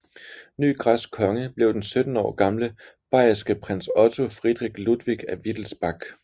Ny græsk konge blev den 17 år gamle bayerske prins Otto Friedrich Ludwig af Wittelsbach